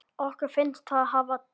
Okkur finnst það hafa tekist.